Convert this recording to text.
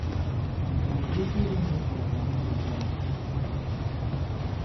O nwere ike ịbụ na ị chọrọ ka ha nabata gị?